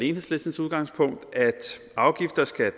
enhedslistens udgangspunkt at afgifter skal